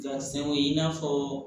Gariso ye i n'a fɔ